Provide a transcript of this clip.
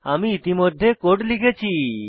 আমি ইতিমধ্যে কোড লিখেছি